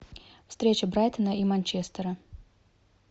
встреча брайтона и манчестера